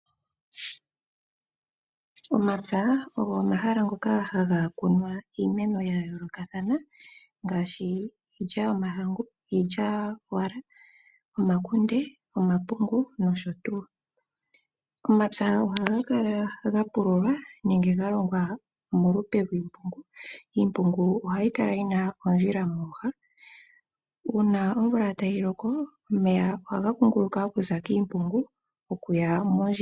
Omapya ogo omahala ngoka ha ga kunwa iimeno ya yoolokathana ngaashi iilya yomahangu, iilyawala, omakunde, omapungu nosho tuu. Omapya oha ga kala ga pululwa ge na iimpungu yi na oondjila mooha. Uuna omvula tayi loko omeya ohaga kunguluka moondjila.